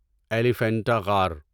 ایلیفنٹا غار